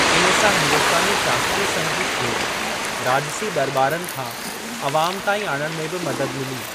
इन सां हिंदुस्‍तानी शास्‍त्रीय संगीत खे राजसी दरबारनि खां अवाम ताईं आणण में बि मदद मिली।